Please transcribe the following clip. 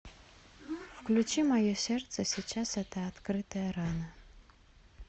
включи мое сердце сейчас это открытая рана